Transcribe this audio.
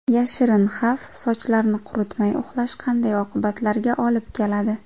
Yashirin xavf: sochlarni quritmay uxlash qanday oqibatlarga olib keladi?.